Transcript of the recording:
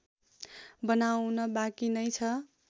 बनाउन बाँकी नै छ